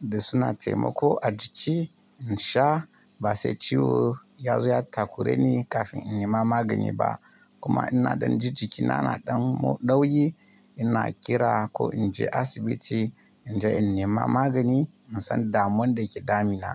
Da suna taimako a jiki in sha, ba sai ciwo ya zo ya takureni kafin in nema magani ba. Kuma ina ɗan ji jikina na ɗan dauyi, ina kira ko in je asibiti in je in nema magani in san damuwan da ke damina.